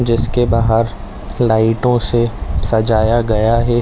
जिसके बाहर लाइटों से सजाया गया है।